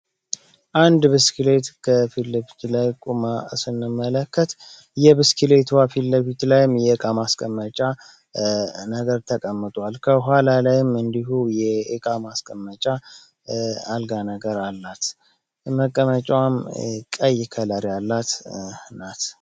እንድ ብስክሌት ከፊት ለፊት ላይ ቆማ ስንመለከት የብስክሌቱ ፊት ለፊት ላይ የዕቃ ማስቀመጫ ነገር ተቀምጦአል ከኋላ ላይም እንዲሁ የእቃ ማስቀመጫ አልጋ ነገር አላት መቀመጫውን ቀይ ከለር ያላት ናት።